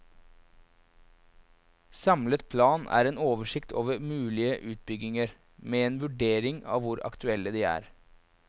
Samlet plan er en oversikt over mulige utbygginger, med en vurdering av hvor aktuelle de er.